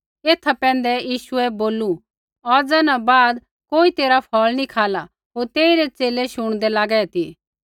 एथा पैंधै यीशुऐ बोलू औज़ा न बाद कोई तेरा फ़ौल़ नी खाला होर तेई रै च़ेले शुणदे लागै ती